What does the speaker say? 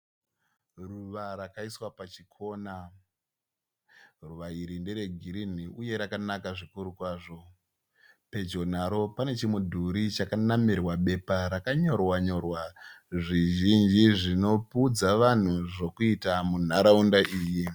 Ruva rakaiswa pachikona. Ruva iri ndere girinhi uye rakanaka zvikuru kwazvo. Pedyo naro pane chimudhuri chakanamirwa bepa rakanyorwa nyorwa zvizhinji zvinoudza vanhu zvokuita munharaunda iyi.